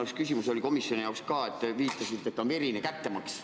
Minu küsimus on – oli ka komisjonis – selle kohta, et te viitasite, et on olemas verine kättemaks.